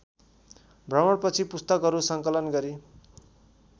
भ्रमणपछि पुस्तकहरू सङ्कलन गरी